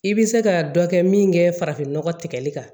I bɛ se ka dɔ kɛ min kɛ farafin nɔgɔ tigɛli kan